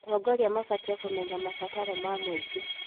Atongoria mabatiĩ kũmenya mabataro ma mũingĩ.